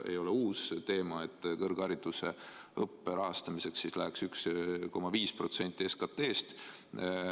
Ei ole uus teema, et kõrgharidusõppe rahastamiseks läheks 1,5% SKT-st.